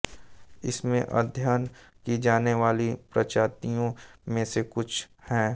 इसमें अधय्यन की जाने वाली प्रजातियों में से कुछ हैं